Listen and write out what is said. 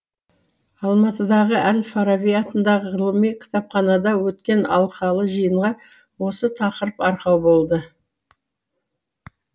алматыдағы әл фараби атындағы ғылыми кітапханада өткен алқалы жиынға осы тақырып арқау болды